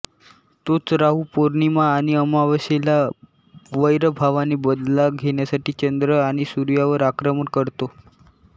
तोच राहू पौर्णिमा आणि अमावस्येला वैरभावाने बदला घेण्यासाठी चंद्र आणि सूर्यावर आक्रमण करतो